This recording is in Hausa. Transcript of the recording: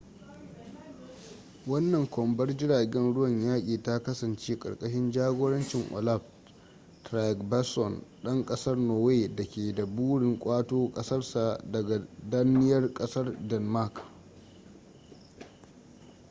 wannan kwambar jiragen ruwan yaƙi ta kasance karkashin jagorancin olaf trygvasson dan kasar norway da ke da burin ƙwato kasarsa daga danniyar kasar denmark